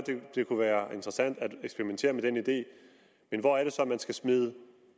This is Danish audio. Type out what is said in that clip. det kunne være interessant at eksperimentere med den idé men hvor er det så man skal smide